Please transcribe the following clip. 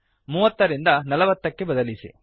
೩೦ ರಿಂದ ೪೦ ಕ್ಕೆ ಬದಲಿಸಿ